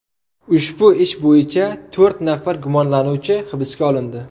Ushbu ish bo‘yicha to‘rt nafar gumonlanuvchi hibsga olindi.